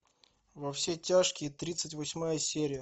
во все тяжкие тридцать восьмая серия